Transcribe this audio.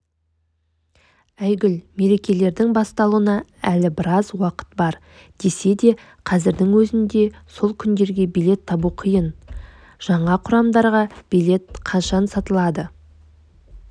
айгүл мерекелердің басталуына әлі біраз уақыт бар десе де қазірдің өзінде сол күндерге билет табу қиын жаңа құрамдарға билет қашан сатылады